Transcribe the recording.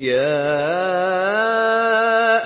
يَا